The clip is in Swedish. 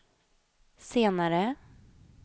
senare